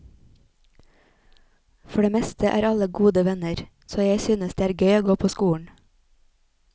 For det meste er alle gode venner, så jeg synes det er gøy å gå på skolen.